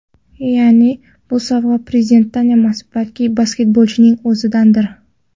Ya’ni bu sovg‘a prezidentdan emas, balki basketbolchining o‘zidandir.